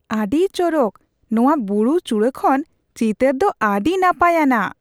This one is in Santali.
ᱟᱹᱰᱤ ᱪᱚᱨᱚᱠ ! ᱱᱚᱶᱟ ᱵᱩᱨᱩ ᱪᱩᱲᱟᱹ ᱠᱷᱚᱱ ᱪᱤᱛᱟᱹᱨ ᱫᱚ ᱟᱹᱰᱤ ᱱᱟᱯᱟᱭ ᱟᱱᱟᱜ ᱾